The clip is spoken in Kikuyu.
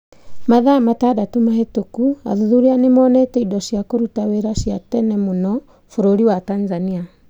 Mathaa matandatũ mahĩtũku athuthuria nĩ monete indo cia kũruta wĩra cia tene mũno bũrũri wa Tanzania.